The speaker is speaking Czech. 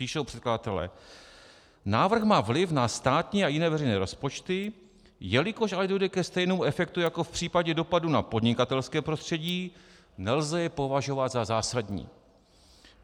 Píšou předkladatelé: Návrh má vliv na státní a jiné veřejné rozpočty, jelikož ale dojde ke stejnému efektu jako v případě dopadů na podnikatelské prostředí, nelze je považovat za zásadní.